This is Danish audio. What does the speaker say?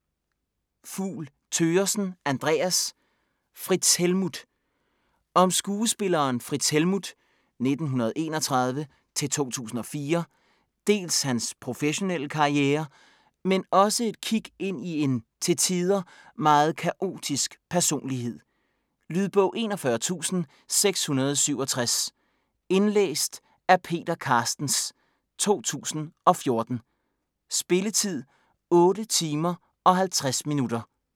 Fugl Thøgersen, Andreas: Frits Helmuth Om skuespilleren Frits Helmuth (f. 1931-2004) dels hans professionelle karriere, men også et kik ind i en, til tider, meget kaotisk personlighed. Lydbog 41667 Indlæst af Peter Carstens, 2014. Spilletid: 8 timer, 50 minutter.